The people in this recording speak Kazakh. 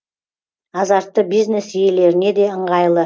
азартты бизнес иелеріне де ыңғайлы